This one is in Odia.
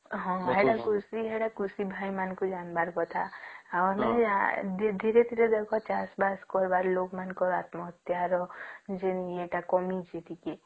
ହଁ ସେଟା କୃଷି ଭାଇ ମାନଙ୍କୁ ଜାଣିବାର କଥା ଧୀରେ ଧୀରେ ଦେଖ ଚାଷ ବାସ କରିବାର ଲୋକ ମାନଙ୍କର ତ୍ମହତ୍ୟା ର ଯେନ ୟେ ଟା କମିଛି ଟିକେ